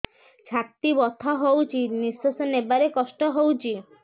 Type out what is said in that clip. ଛାତି ବଥା ହଉଚି ନିଶ୍ୱାସ ନେବାରେ କଷ୍ଟ ହଉଚି